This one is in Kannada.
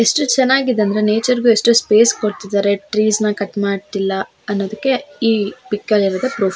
ಇಷ್ಟ್ ಚೆನ್ನಗಿದೆ ಅಂದ್ರೆ ನೇಚರ್ ಗು ಎಷ್ಟು ಸ್ಪೇಸ್ ಕೊಡ್ತಿದಾರೆ ಟ್ರೀಸ್ ನ ಕಟ್ ಮಾಡ್ತಿಲ್ಲ ಅನ್ನೊದಕ್ಕೆ ಈ ಪಿಕ್ ಅಲ್ಲಿರೋದೆ ಪ್ರೂಫ್ .